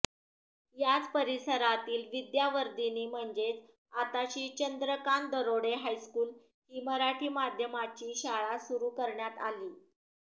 याच परिसरात विद्यावर्धिनी म्हणजेच आताची चंद्रकांत दरोडे हायस्कूल ही मराठी माध्यमाची शाळा सुरू करण्यात आली